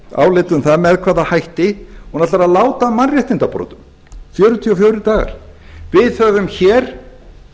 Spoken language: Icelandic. álit um það með hvaða hætti hún ætlar að láta af mannréttindabrotum fjörutíu og fjórir dagar við höfum hér